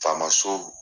Faama so